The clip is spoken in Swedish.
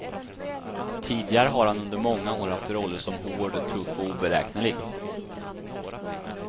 Tidigare har han under många år haft roller som hård, tuff och oberäknelig.